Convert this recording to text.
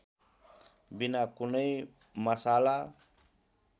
बिना कुनै मशाला